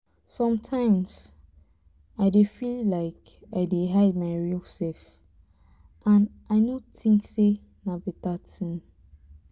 sometimes i dey feel like i dey hide my real self and i no think sey na better thing